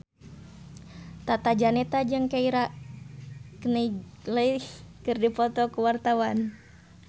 Tata Janeta jeung Keira Knightley keur dipoto ku wartawan